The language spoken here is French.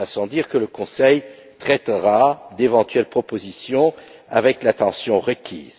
Il va sans dire que le Conseil traitera d'éventuelles propositions avec l'attention requise.